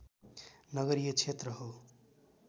नगरीय क्षेत्र हो